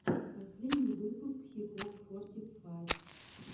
последний выпуск хикок форти файв